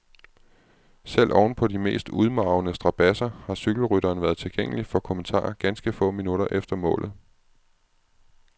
Selv ovenpå de mest udmarvende strabadser har cykelrytteren været tilgængelig for kommentarer ganske få minutter efter målet.